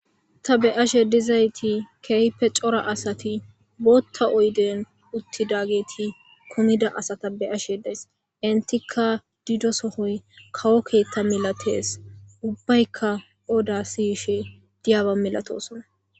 Ta be'ashe dizayssi keehipe cora asati booththa oyden uttidageta be'ashe daysi. Entikka dizoy kawo keeththan ubbaykka odda siyishe de'osonna.